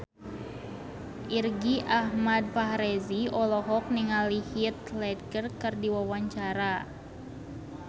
Irgi Ahmad Fahrezi olohok ningali Heath Ledger keur diwawancara